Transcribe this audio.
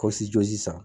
jɔ sisan